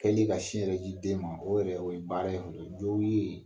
Yanni ka sin yɛrɛ di den ma o yɛrɛ o ye baara ye fɔlɔ. Jɔw ye